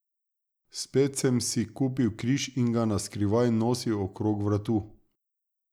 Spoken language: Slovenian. Spet sem si kupil križ in ga na skrivaj nosil okrog vratu.